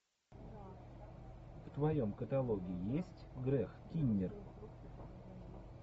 в твоем каталоге есть грег киннир